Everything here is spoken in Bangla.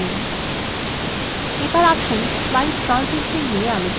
এবার আসুন slide ট্রানজিশন নিয়ে আলোচনা করা যাক